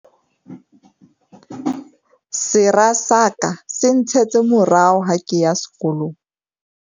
Sera sa ka se ntshetse morao ha ke ya sekolong.